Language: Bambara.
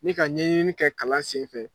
N bɛ ka ɲɛɲini kɛ kalan sen fɛ.